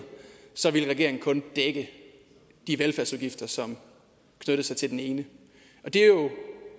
så ville regeringen kun dække de velfærdsudgifter som knyttede sig til den ene det er jo